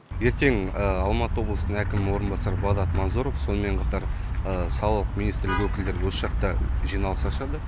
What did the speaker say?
ертең алматы облысы әкімінің орынбасары бағдат масұров сонымен қатар салық министрлік өкілдері осы жақта жиналыс ашады